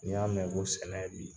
N'i y'a mɛn ko sɛnɛ bi